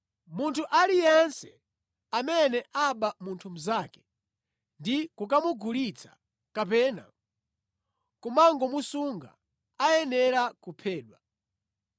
“Munthu aliyense amene aba munthu mnzake, ndi kukamugulitsa, kapena kumangomusunga, ayenera kuphedwa.